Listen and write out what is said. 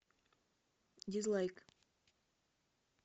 дизлайк